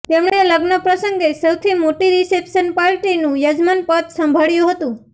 તેમણે લગ્નપ્રસંગે સૌથી મોટી રિસેપ્શન પાર્ટીનું યજમાનપદ સંભાળ્યું હતું